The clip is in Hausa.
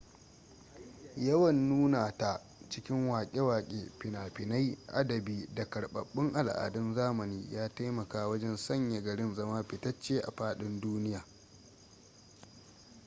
yawan nuna ta cikin wake wake fina-finai adabi da karbabbun al'adun zamani ya taimaka wajen sanya garin zama fitacce a fadin duniya